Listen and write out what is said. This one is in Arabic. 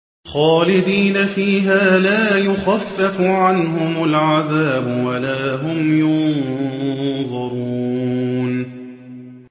خَالِدِينَ فِيهَا ۖ لَا يُخَفَّفُ عَنْهُمُ الْعَذَابُ وَلَا هُمْ يُنظَرُونَ